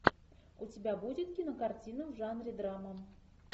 у тебя будет кинокартина в жанре драма